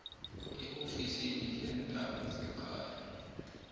eofisini leendaba zekhaya